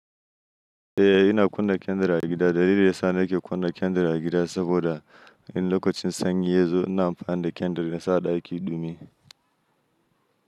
Eh, ina kunna kyandir a gida. Dalilin da yasa nake kunna kyandir a gida saboda in lokacin sanyi ya zo, ina amfani da kyandir insa a ɗaki ɗumi.